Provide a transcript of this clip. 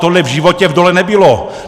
Tohle v životě v dole nebylo!